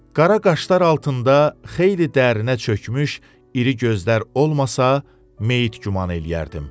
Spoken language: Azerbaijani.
Qara qaşlar altında xeyli dərinə çökmüş, iri gözlər olmasa, meyit güman eləyərdim.